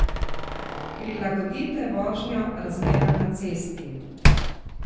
Prilagodite vožnjo razmeram na cesti!